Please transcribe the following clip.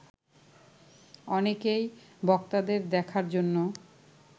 অনেকেই বক্তাদের দেখার জন্য